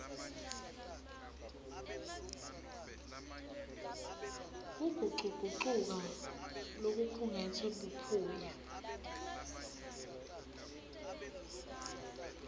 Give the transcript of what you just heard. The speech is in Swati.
kugucugucuka lokukhungetse buphuya